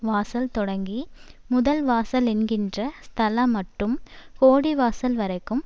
வாசல் தொடங்கி முதல்வாசலென்கிற ஸ்தலமட்டும் கோடிவாசல் வரைக்கும்